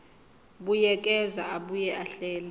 buyekeza abuye ahlele